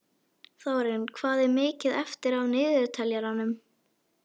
Þórinn, hvað er mikið eftir af niðurteljaranum?